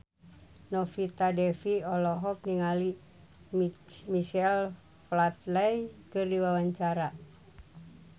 Novita Dewi olohok ningali Michael Flatley keur diwawancara